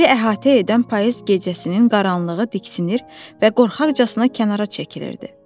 Bizi əhatə edən payız gecəsinin qaranlığı diksinir və qorxaqcana kənara çəkilirdi.